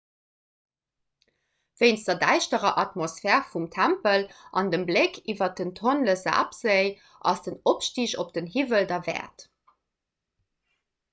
wéinst der däischterer atmosphär vum tempel an dem bléck iwwer den tonle-sap-séi ass den opstig op den hiwwel derwäert